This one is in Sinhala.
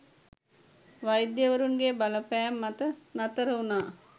වෛද්‍යවරුන්ගේ බලපෑම් මත නතර වුණා.